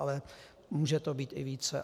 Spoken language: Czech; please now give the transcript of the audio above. Ale může to být i více.